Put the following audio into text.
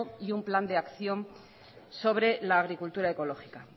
y un plan de acción sobre la agricultura ecológica